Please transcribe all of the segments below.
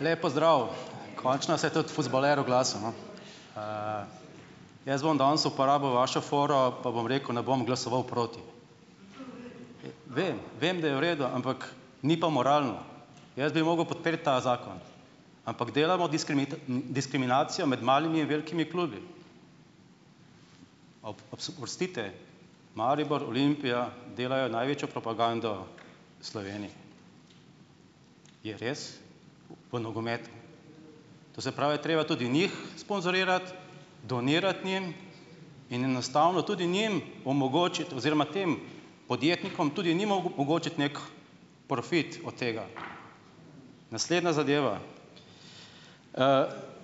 Lep pozdrav . Končno se je tudi fuzbaler oglasil, no . jaz bom danes uporabil vašo foro pa bom rekel, ne bom glasoval proti. Vem, vem da je v redu, ampak ni pa moralno. Jaz bi mogel podpreti ta zakon. Ampak delamo diskriminacijo med malimi in velikimi klubi. , Maribor, Olimpija delajo največjo propagando Sloveniji. Je res? V nogometu? To se pravi, je treba tudi njih sponzorirati, donirati njim in enostavno tudi njim omogočiti oziroma tem podjetnikom, tudi njim omogočiti neki profit od tega. Naslednja zadeva.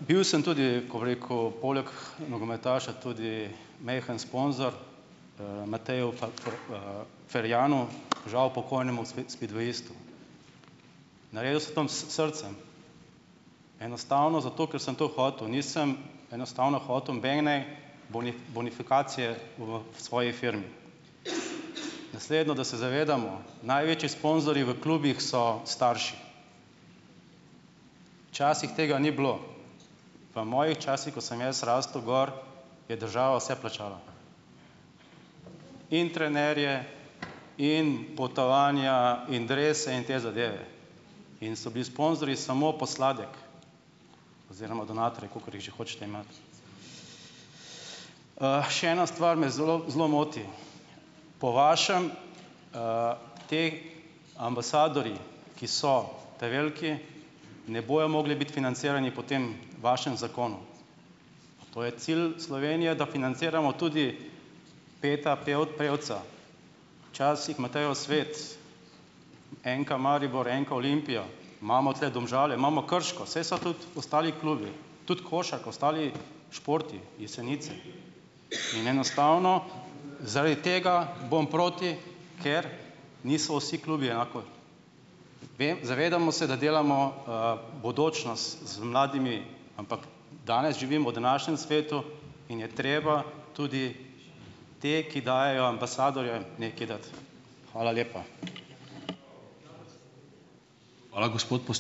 bil sem tudi, ko bi rekel, poleg nogometaša tudi majhen sponzor Mateju , Ferjanu, žal pokojnemu spidvejistu. s srcem. Enostavno zato, ker sem to hotel. Nisem enostavno hotel nobene bonifikacije v svoji firmi. Naslednjo, da se zavedamo. Največji sponzorji v klubih so starši. Včasih tega ni bilo. V mojih časih, ko sem jaz rastel gor, je država vse plačala. In trenerje in potovanja in drese in te zadeve. In so bili sponzorji samo posladek oziroma donatorji, kakor jih še hočete imeti. še ena stvar me zelo, zelo moti. Po vašem, ti ambasadorji, ki so ta veliki, ne bojo mogli biti financirani po tem vašem zakonu. To je cilj Slovenije, da financiramo tudi Petra Prevca. Včasih Matejo Svet. NK Maribor, NK Olimpijo. Imamo tule Domžale, imamo Krško, saj so tudi ostali klubi. Tudi košarka, ostali športi, Jesenice. In enostavno zaradi tega bom proti, ker niso vsi klubi enako. Vem, zavedamo se, da delamo, bodočnost z mladimi, ampak danes živim, v današnjem svetu in je treba tudi te, ki dajejo ambasadorju, nekaj dati. Hvala lepa.